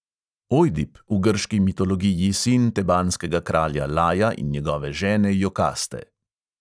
Ojdip, v grški mitologiji sin tebanskega kralja laja in njegove žene jokaste.